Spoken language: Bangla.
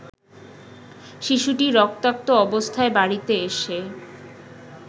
শিশুটি রক্তাক্ত অবস্থায় বাড়িতে এসে